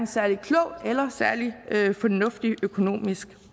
særlig klog eller særlig fornuftig økonomisk